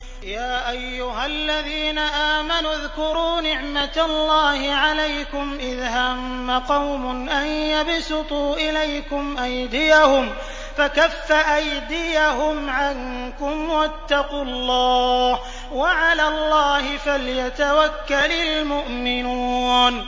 يَا أَيُّهَا الَّذِينَ آمَنُوا اذْكُرُوا نِعْمَتَ اللَّهِ عَلَيْكُمْ إِذْ هَمَّ قَوْمٌ أَن يَبْسُطُوا إِلَيْكُمْ أَيْدِيَهُمْ فَكَفَّ أَيْدِيَهُمْ عَنكُمْ ۖ وَاتَّقُوا اللَّهَ ۚ وَعَلَى اللَّهِ فَلْيَتَوَكَّلِ الْمُؤْمِنُونَ